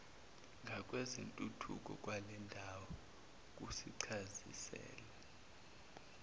ngakwezentuthuko kwalendawo kusicacisela